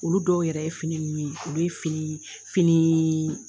Olu dɔw yɛrɛ ye fini ninnu ye, olu ye fini finii